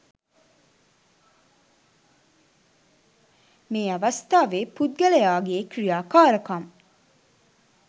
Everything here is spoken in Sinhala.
මේ අවස්ථාවේ පුද්ගලයාගේ ක්‍රියාකාරකම්